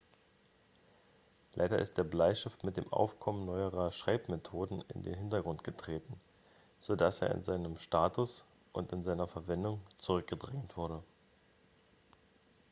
leider ist der bleistift mit dem aufkommen neuerer schreibmethoden in den hintergrund getreten so dass er in seinem status und in seiner verwendung zurückgedrängt wurde